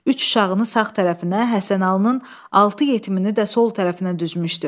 Üç uşağını sağ tərəfinə, Həsənalının altı yetimini də sol tərəfinə düzmüşdü.